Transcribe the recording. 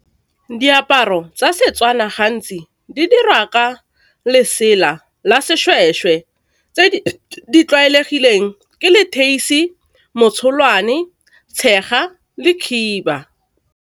Diaparo tsa setswana gantsi di dirwa ka lesela la seshweshwe, tse di tlwaelegileng ke leteisi, motsholwane, tshega le khiba.